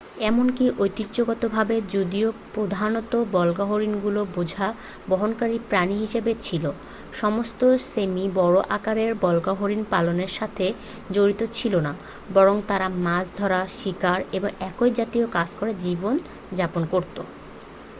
এমনকি ঐতিহ্যগতভাবে যদিও প্রধানত বল্গাহরিণগুলো বোঝা বহনকারী প্রাণী হিসেবে ছিল সমস্ত স্যামি বড় আকারের বল্গাহরিণ পালনের সাথে জড়িত ছিল না বরং তারা মাছ ধরা শিকার এবং একই জাতীয় কাজ করে জীবন যাপন করত